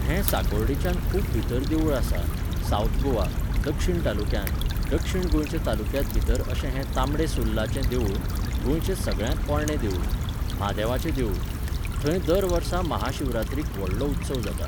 हें साकोर्डेच्यान खूब भितर देवूळ आसा, सावथ गोवा, दक्षिण तालुक्यांत, दक्षिण गोंयच्या तालुक्यांत भितर अशें हें तांबडे सुर्लाचें देवूळ, गोंयचें सगळ्यांत पोरणें देवूळ, म्हादेवाचें देवूळ. थंय दर वर्सा महाशिवरात्रीक व्हडलो उत्सव जाता.